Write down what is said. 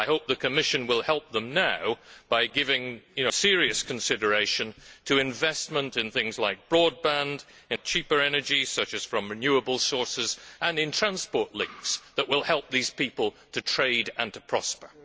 I hope the Commission will help them now by giving serious consideration to investment in things like broadband, cheaper energy such as from renewable sources and transport links, which will help these people to trade and to prosper.